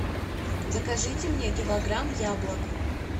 закажите мне килограмм яблок